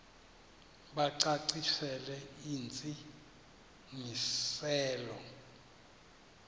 bacacisele intsi ngiselo